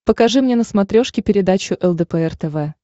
покажи мне на смотрешке передачу лдпр тв